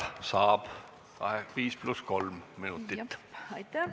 Aitäh!